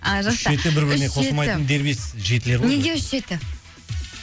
а жақсы үш жеті үш жеті бір біріне қосылатын дербес жетілер ғой неге үш жеті